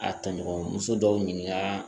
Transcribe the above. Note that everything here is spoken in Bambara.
A taɲɔgɔn muso dɔw ɲininka